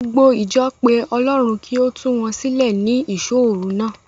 Gbogbo ìjọ pe Ọlọ́run kí ó tu wọn sílẹ̀ ní ìṣóòru náà.